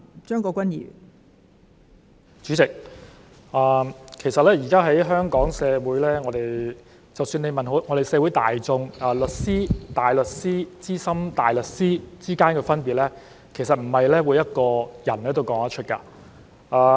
代理主席，現時在香港社會，即使問社會大眾：律師、大律師和資深大律師之間的分別，其實不是每一個人都說得出。